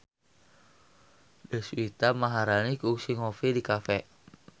Deswita Maharani kungsi ngopi di cafe